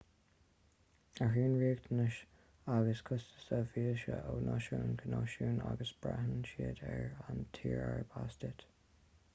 athraíonn riachtanais agus costais víosa ó náisiún go náisiún agus braitheann siad ar an tír arb as duit